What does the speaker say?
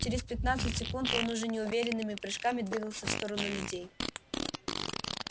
через пятнадцать секунд он уже неуверенными прыжками двигался в сторону людей